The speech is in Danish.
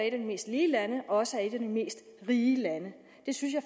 et af de mest lige lande også er et af de mest rige lande jeg synes